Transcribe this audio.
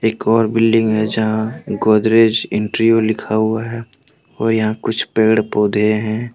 एक और बिल्डिंग है यहां गोदरेज इंटीरियो लिखा हुआ है और यहां कुछ पेड़ पौधे हैं।